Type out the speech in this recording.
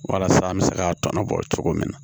Walasa an bɛ se ka tɔnɔ bɔ cogo min na